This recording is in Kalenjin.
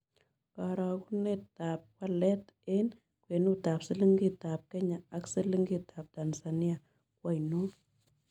Karogunetap walet eng' kwenutap silingitap kenya ak silingitap tanzania ko ainon